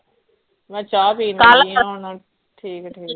ਮੈ ਚਾਅ ਪੀਣ ਲੱਗੀ ਹੀ ਹੁਣ ਠੀਕ ਠੀਕ